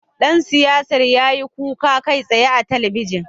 Dan siyasar ya yi kuka kai tsaye a talabijin